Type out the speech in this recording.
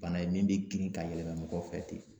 Bana ye min be girin ka yɛlɛma mɔgɔ fɛ ten